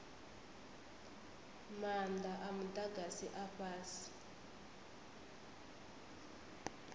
maanda a mudagasi a fhasi